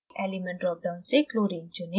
element drop down से chlorine चुनें